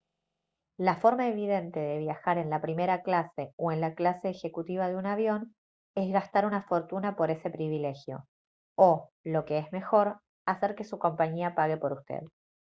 la forma evidente de viajar en la primera clase o en la clase ejecutiva de un avión es gastar una fortuna por ese privilegio o lo que es mejor hacer que su compañía pague por usted